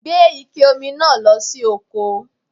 Gbé Ike Omi náà lọ sí oko